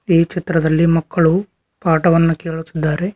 ಈ ಚಿತ್ರದಲ್ಲಿ ಮಕ್ಕಳು ಪಾಠವನ್ನು ಕೇಳುತ್ತಿದ್ದಾರೆ.